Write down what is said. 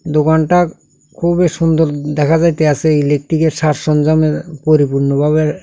দোকানটা খুবই সুন্দর দেখা যাইতে আসে ইলেকট্রিকের সাজ সঞ্জামের পরিপূর্ণভাবে।